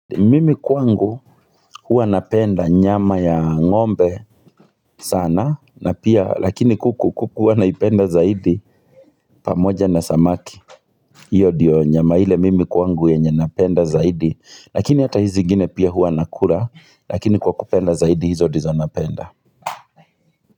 Mimi kwangu hua napenda nyama ya ng'ombe sana na pia lakini kuku kuku huwa naipenda zaidi pamoja na samaki Iyo ndiyo nyama ile mimi kwangu yenye napenda zaidi lakini hata hizi zingine pia huwa nakula lakini kwa kupenda zaidi hizo ndizo napenda.